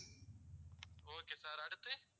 okay sir அடுத்து